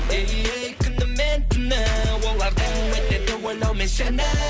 эй ей күні мен түні олардың өтеді ойлаумен сені